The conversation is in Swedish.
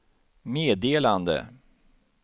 meddelande